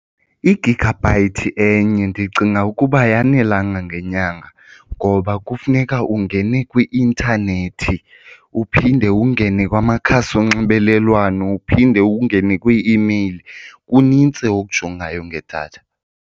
I-gigabyte enye ndicinga ukuba ayanelanga ngenyanga ngoba kufuneka ungene kwi-intanethi, uphinde ungene kwamakhasi onxibelelwano, uphinde ungene kwii-email. Kunintsi okujongayo ngedatha.